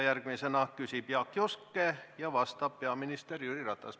Järgmisena küsib Jaak Juske ja vastab peaminister Jüri Ratas.